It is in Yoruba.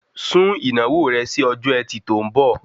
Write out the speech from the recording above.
Sún ìnáwó rẹ si ọjọ́ ẹtì tó ń bọ̀